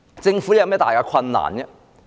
政府有甚麼大困難？